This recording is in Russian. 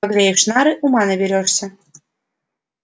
погреешь нары ума наберёшься